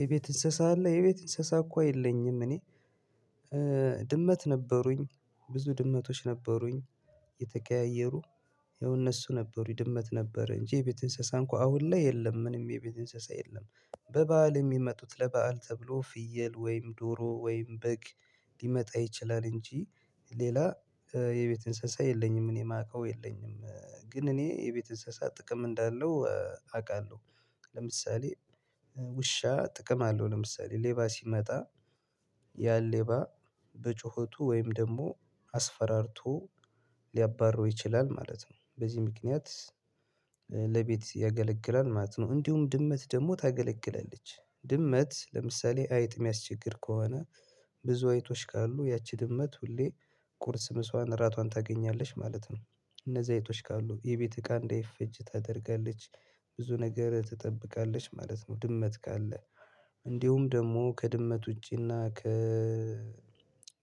የቤት እንስሳ አለ የቤት እንስሳ እኮ የለኝም እኔ ድመት ነበሩኝ ብዙ ድመቶች ነበሩኝ የተቀያየሩ ይኸው እነሱ ነበሩኝ ድመት ነበር እንጂ የቤት እንስሳን እኮ አሁን ላይ የለም ምንም የቤት እንስሳ የለም። በበዓል የሚመጡት ለበአል ተብሎ ፍየል ወይም ዶሮ ወይም በግ ሊመጣ ይችላል እንጂ ሌላ የቤት እንስሳ የለኝም። እኔ የማውቀው የለኝም ግን እኔ የቤት እንስሳ ጥቅም እንዳለው አውቃለሁ ለምሳሌ ውሻ ጥቅም አለው ለምሳሌ ሌባ ሲመጣ ያን ሌባ በጩኸቱ ወይም ደግሞ አስፈራርቶ ሊያባረው ይችላል ማለት ነው በዚህ ምክንያት ያገለግላል ማለት ነው። እንዲሁም ድመት ደግሞ ታገለግለለች ድመት ለምሳሌ አይጥ የሚያስቸግር ከሆነ ብዙ አይጦች ካሉ ያቺ ድመት ሁሌ ቁርስ ምሷዋን እራቷን ታገኛለች ማለት ነው እነዚህ አይጦች ካሉ የቤት እቃ እንዳይፈጅ ታደርጋለች ብዙ ነገር ትጠብቃለች ማለት ነው። ድመት ካለ እንዲሁም ደግሞ ከድመት ውጪና ከ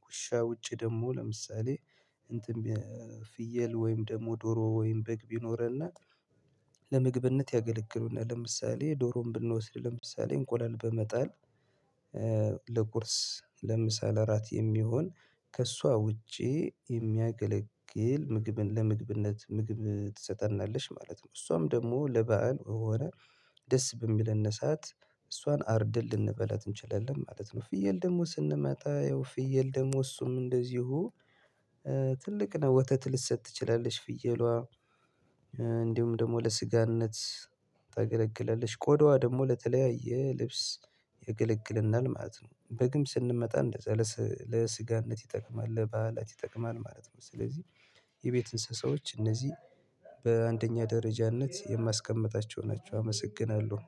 ውሻ ውጪ ደግሞ ለምሳሌ እንትን ፍየል ወይም ደግሞ ዶሮ ወይም በግ ቢኖረና ለመግብነት ያገለግሉናል ለምሳሌ ዶሮን ብንወስድ ለምሳሌ እንቆላል በመጣል ለቁርስ ለምሳሌ እራት የሚሆን ከእሷ ውጪ የሚያገለግል ምግብን ለምግብነት ምግብ ትሰጠናለች ማለት ነው። እሷም ደግሞ ለበአል ወይ ወይ ደስ በሚለን ሰዓት እሷን አርደን ልንበላት እንችላለን ማለት ነው። ፍየል ደግሞ ስንመጣ ያው ፍየል ደግሞ እሱም እንደዚሁ ትልቅ ነው ወተት ልትሰጥ ትችላለች ፍየሏ እንዲሁም ደግሞ ለስጋነት ታገለግለለች ቆዳዋ ደግሞ ለተለያየ ልብስ የገለግልናል ማለት ነው። በግም ስንመጣ እንደ ለስጋነት ይጠቅማል ለበዓላት ይጠቅማል ማለት ነው። ስለዚህ የቤት እንስሳዎች እነዚህ በአንደኛ ደረጃነት የማስቀምጣቸው ናቸው። አመሰግናለሁ